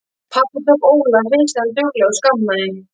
Pabbi tók Óla, hristi hann duglega og skammaði.